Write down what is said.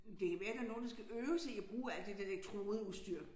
Det kan være der nogen der skal øve sig i at bruge alt det der elektrodeudstyr